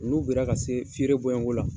N'u bera ka se feere bɔɲɔgo la